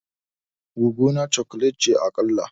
Goggona chocolate ce a kala.